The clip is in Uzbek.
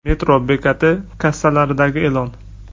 Metro bekati kassalaridagi e’lon.